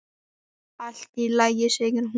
Allt í lagi, segir hún.